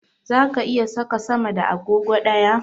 Zaka iya saka sama da agogo ɗaya?